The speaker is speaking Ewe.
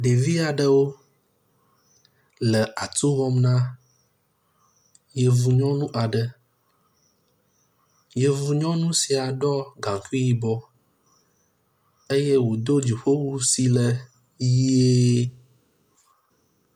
Ɖevia ɖewo le atu wɔm na yevu nyɔŋu aɖe, yevu nyɔŋu sia ɖɔ gaŋkui yibɔ eye wòdo dziƒowu si le ʋie.